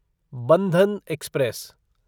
Bandhan express